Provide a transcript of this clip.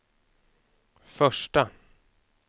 första